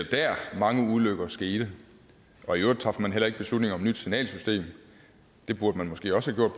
mange ulykker skete og i øvrigt traf man heller ikke beslutning om et nyt signalsystem det burde man måske også have